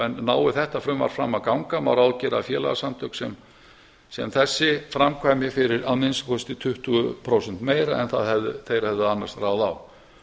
en nái þetta frumvarp fram að ganga má gera ráð fyrir að félagasamtök sem þessi framkvæmi fyrir að minnsta kosti tuttugu prósentum meira en þeir hefðu annað ráð á